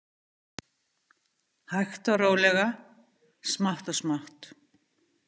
Hægt og rólega, smátt og smátt.